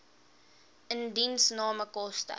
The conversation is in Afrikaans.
indiensname koste